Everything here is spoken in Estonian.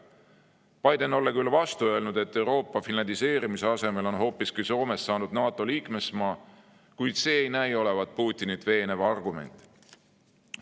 Biden olla küll vastu öelnud, et Euroopa finlandiseerimise asemel on hoopiski Soomest saanud NATO liikmesmaa, kuid see ei näi olevat Putinit veenev argument.